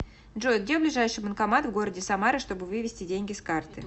джой где ближайший банкомат в городе самара чтобы вывести деньги с карты